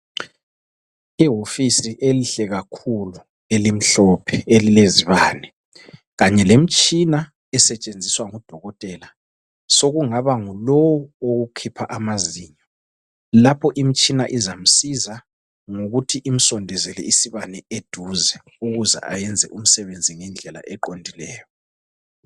Ihofisi enhle kakhulu elimhlophe elilezibane kanye lemitshina esetshenziswa ngodokotela sokungaba ngulowu okhipha amazinyo lapho imitshina izamsiza ngokuthi imsondezele isibane eduze ukuze ayenze umsebenzi ngendlela eqondileyo.